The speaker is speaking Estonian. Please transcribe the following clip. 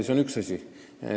See on üks asi.